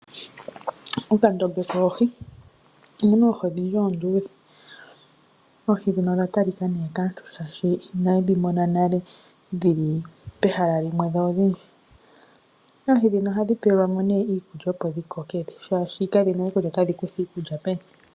Okandombe koohi omuna oohi odhindji oondudhe. Oohi ndhino odha talika nee kaantu, shaashi inayedhi mona nale dhili pehala limwe dho odhindji. Oohi ndhino ohadhi pelwa mo iikulya opo dhikoke, oshoka kadhina we kutya otadhi kutha iikulya peni.